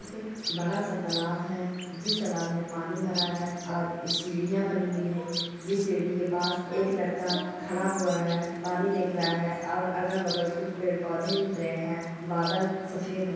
एक-- बड़ा- सा तालाब है जिस तालाब में पानी भरा है और सीढ़ियाँ बनी हुई है जिस सीढ़ी के पास एक लड़का खड़ा हुआ है पानी देख रहा है और अगल-बगल कुछ पेड़- पौधे दिख रहे हैं बादल सफेद है--